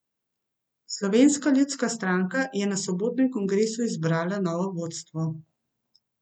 Slovenska ljudska stranka je na sobotnem kongresu izbrala novo vodstvo.